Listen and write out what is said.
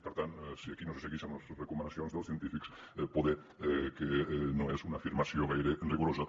per tant que aquí no se segueixen les recomanacions dels científics poder no és una afirmació gaire rigorosa